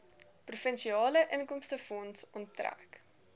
provinsiale inkomstefonds onttrek